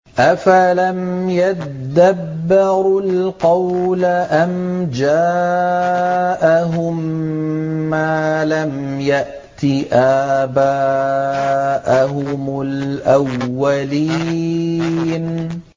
أَفَلَمْ يَدَّبَّرُوا الْقَوْلَ أَمْ جَاءَهُم مَّا لَمْ يَأْتِ آبَاءَهُمُ الْأَوَّلِينَ